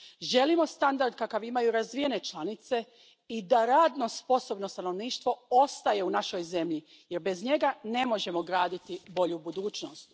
Želimo standard kakav imaju razvijene članice i da radno sposobno stanovništvo ostaje u našoj zemlji jer bez njega ne možemo graditi bolju budućnost.